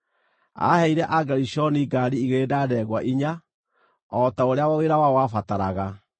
Aaheire Agerishoni ngaari igĩrĩ na ndegwa inya, o ta ũrĩa wĩra wao wabataraga,